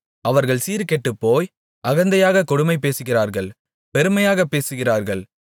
அவர்கள் சீர்கெட்டுப்போய் அகந்தையாகக் கொடுமை பேசுகிறார்கள் பெருமையாகப் பேசுகிறார்கள்